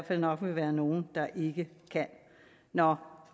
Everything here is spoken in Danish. vil nok være nogle der ikke kan nå